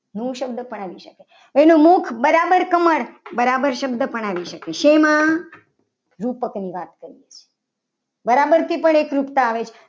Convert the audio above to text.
મુખ શબ્દ પણ આવી શકે. તેનું મુખ બરાબર કમળ બરાબર શબ્દ પણ આવી શકે. શેમાં રૂપકની વાત કરું છું બરાબર પણ એકરૂપતા આવે છે.